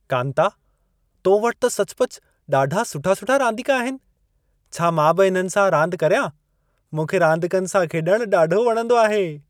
कांता, तो वटि त सचुपचु ॾाढा सुठा-सुठा रांदीका आहिनि। छा मां बि इननि सां रांदि करियां? मूंखे रांदीकनि सां खेॾणु ॾाढो वणंदो आहे।